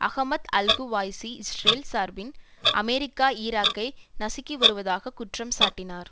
Ahmed al Quwaisi Israel சார்பில் America ஈராக்கை நசுக்கி வருவதாக குற்றம் சாட்டினார்